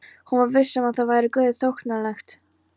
Hún var viss um að það væri Guði þóknanlegt.